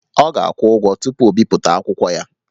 Ọ ga-akwụ ụgwọ tupu o bipụta akwụkwọ ya